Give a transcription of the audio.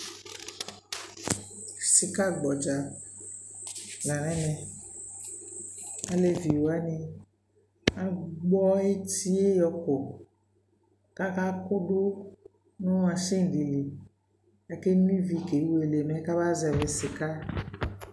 Sika gbɔdza la nʋ ɛmɛ Aleviwani agbɔ eti yɛ yɔkɔ kʋ akakʋdʋ nʋ mashin dι lι Akeno ive kewele mɛ kamazɛvi sika